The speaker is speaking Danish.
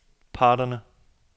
parterne